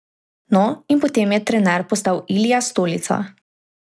No, in potem je trener postal Ilija Stolica.